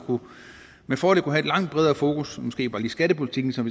med fordel kunne have et langt bredere fokus og måske på lige skattepolitikken som